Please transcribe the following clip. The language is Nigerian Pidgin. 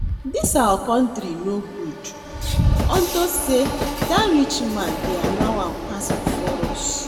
Dis our country no good. Unto say dat man rich they allow am pass before us